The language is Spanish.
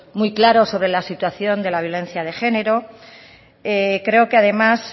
muy claro sobre la situación de la violencia de género creo que además